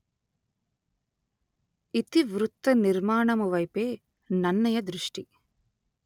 ఇతివృత్త నిర్మాణము వైపే నన్నయ దృష్టి